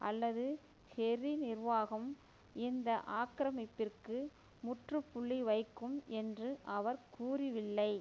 அல்லது கெர்ரி நிர்வாகம் இந்த ஆக்கிரமிப்பிற்கு முற்றுப்புள்ளி வைக்கும் என்று அவர் கூறிவில்லை